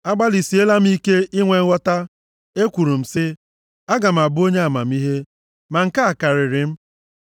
Agbalịsiela m ike inwe nghọta. Ekwuru m sị, “Aga m abụ onye amamihe,” ma nke a karịrị m.